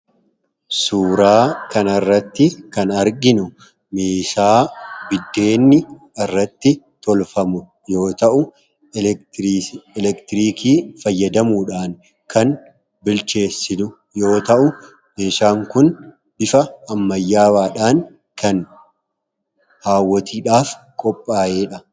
suuraa kana irratti kan arginu meeshaa buddeenni irratti tolfamu yoo ta'u elektirikii fayyadamuudhaan kan bilcheessinu yoo ta'u meeshaan kun bifa ammayyaawaadhaan kan haawwotiidhaaf qophaa'eedha.